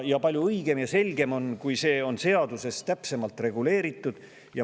Palju õigem ja selgem oleks, kui see oleks seaduses täpsemalt reguleeritud.